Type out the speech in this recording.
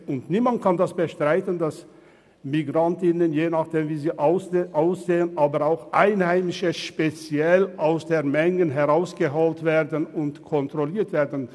Aber niemand kann bestreiten, dass Migranten und Migrantinnen, aber je nach Aussehen auch Einheimische speziell aus der Menschenmenge herausgeholt und kontrolliert werden.